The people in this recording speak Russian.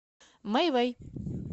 мейвей